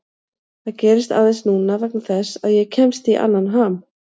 Það gerist aðeins núna vegna þess að ég kemst í annan ham.